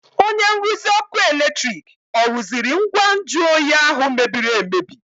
Onye nruzi ọkụ eletrik ọ rụziri ngwa nju oyi ahụ mebiri emebi?